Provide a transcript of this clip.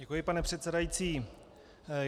Děkuji, pane předsedající.